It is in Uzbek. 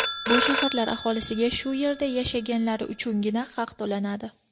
Bu shaharlar aholisiga shu yerda yashaganlari uchungina haq to‘lanadi.